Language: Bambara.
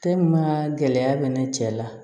gɛlɛya bɛ ne cɛ la